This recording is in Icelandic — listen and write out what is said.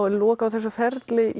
í lok á þessu ferli